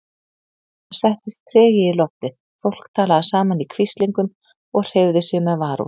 Það settist tregi í loftið, fólk talaði saman í hvíslingum og hreyfði sig með varúð.